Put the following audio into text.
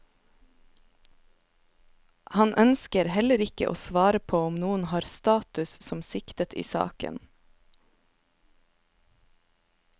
Han ønsker heller ikke å svare på om noen har status som siktet i saken.